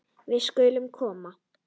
Við skulum koma!